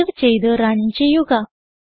save ചെയ്ത് run ചെയ്യുക